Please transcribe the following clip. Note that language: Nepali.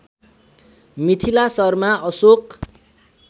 मिथिला शर्मा अशोक